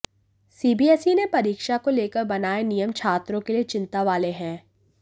CBSE ने परीक्षा को लेकर बनाये नियम छात्रों के लिए चिंता वाले हैं